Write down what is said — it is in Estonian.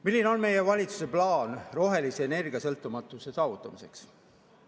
Milline on meie valitsuse plaan rohelise energiasõltumatuse saavutamiseks?